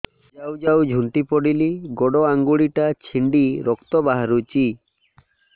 ଯାଉ ଯାଉ ଝୁଣ୍ଟି ପଡ଼ିଲି ଗୋଡ଼ ଆଂଗୁଳିଟା ଛିଣ୍ଡି ରକ୍ତ ବାହାରୁଚି